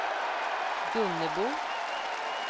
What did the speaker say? Gunnebo